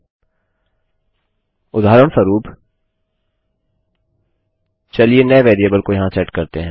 यदि यहाँ लाइन के बाद लाइन होगी तो आपको कर्ली कोष्ठकों की आवश्यकता होगी